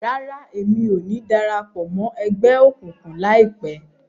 Rárá, Èmí o ni darapọ̀ mọ ẹgbẹ okunkun laipẹ